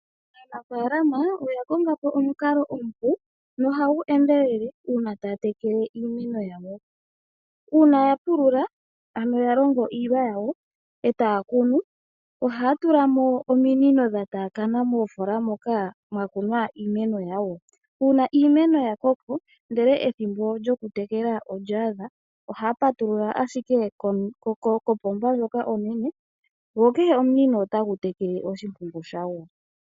Aanafalama oya konga po omukalo omupu nohagu endelele uuna taya tekele iimeno yawo. Uuna ya pulula ano ya pulula ohaya tula mo ominino dha taakana moofola moka ya kuna iimeno. Ngele iimeno ya koko ndele ethimbo lyokutekela olya ada ohaya patulula ashike kopomba yo kehe omunino otagu tekele oshimpungu shago.